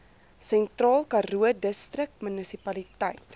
sentraal karoo distriksmunisipaliteit